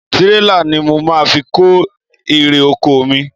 Tirela ni mo máa fi kó ere - oko mi.